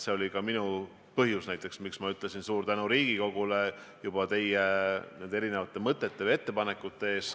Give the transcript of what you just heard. See oli ka põhjus, miks ma ütlesin suure tänu Riigikogule teie erinevate mõtete ja ettepanekute eest.